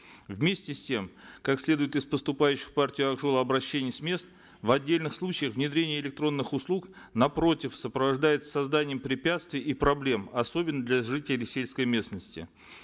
вместе с тем как следует из поступающих в партию ак жол обращений с мест в отдельных случаях внедрение электронных услуг напротив сопровождается созданием препятствий и проблем особенно для жителей сельской местности